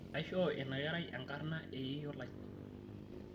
aishoo ina kerai enkarna eyeyio lai